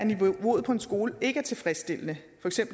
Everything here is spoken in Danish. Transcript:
niveauet på en skole ikke er tilfredsstillende